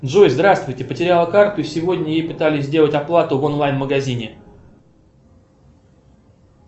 джой здравствуйте потеряла карту и сегодня ей пытались сделать оплату в онлайн магазине